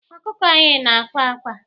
Ọkụkọ anyị na-àkwá ákwā.